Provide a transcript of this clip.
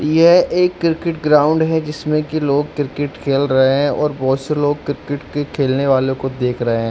यह एक cricket ground है जिसमें कि लोग क्रिकेट खेल रहे है और बहुत-से से लोग क्रिकेट के खेलने वालो को देख रहे हैं।